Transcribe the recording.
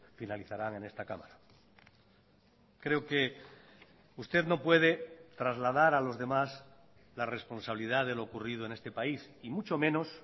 finalizarán en esta cámara creo que usted no puede trasladar a los demás la responsabilidad de lo ocurrido en este país y mucho menos